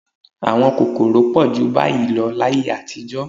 Àwọn kòkòrò pọ̀ jù báyìí lọ láyé àtijọ́